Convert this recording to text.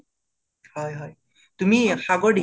হয় হয়। তুমি সাগৰ